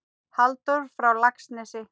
Halldór frá Laxnesi?